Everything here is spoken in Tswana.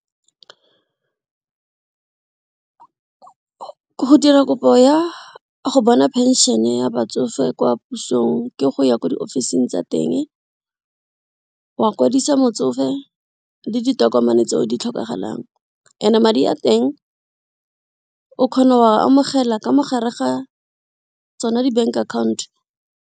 Go dira kopo ya go bona pension ya batsofe kwa pusong ke go ya ko diofising tsa teng, wa kwadisa motsofe le ditokomane tse o di tlhokagalang and-e madi a teng o kgona wa amogela ka mogare ga tsona di bank account.